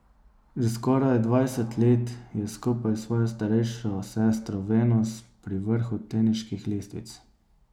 Že skoraj dvajset let je skupaj s svojo starejšo sestro Venus pri vrhu teniških lestvic.